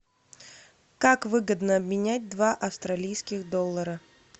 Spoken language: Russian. как выгодно обменять два австралийских доллара